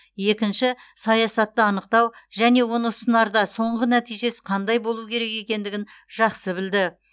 екінші саясатты анықтау және оны ұсынарда соңғы нәтижесі қандай болу керек екендігін жақсы білді